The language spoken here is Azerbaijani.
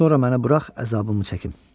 Sonra məni burax əzabımı çəkim.